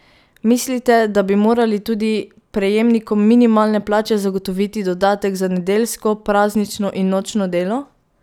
Mislite, da bi morali tudi prejemnikom minimalne plače zagotoviti dodatek za nedeljsko, praznično in nočno delo?